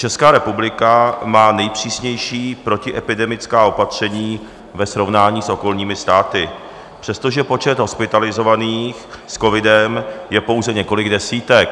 Česká republika má nejpřísnější protiepidemická opatření ve srovnání s okolními státy, přestože počet hospitalizovaných s covidem je pouze několik desítek.